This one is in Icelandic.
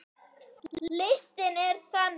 Listinn er þannig